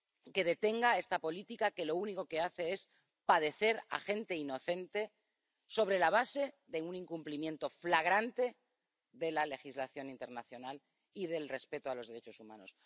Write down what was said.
Que detenga esta política que hace padecer a gente inocente, sobre la base de un incumplimiento flagrante de la legislación internacional y del respeto a los derechos humanos.